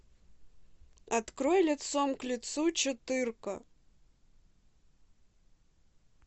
открой лицом к лицу четырка